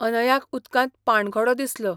अनयाक उदकांत पाणघोडो दिसलो.